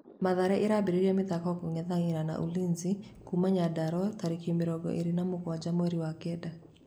Mathare ĩrambĩrĩria mathako kũng'ethanĩra na Ulinzi kuma Nyandarua tarĩki mĩrongo ĩrĩ na mũgwanja mweri wa kenda